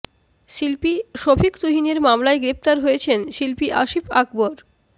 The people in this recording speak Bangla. শিল্পী শফিক তুহিনের মামলায় গ্রেপ্তার হয়েছেন শিল্পী আসিফ আকবর